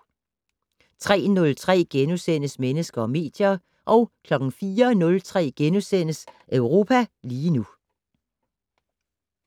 03:03: Mennesker og medier * 04:03: Europa lige nu *